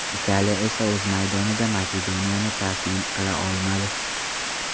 Italiya esa o‘z maydonida Makedoniyani taslim qila olmadi.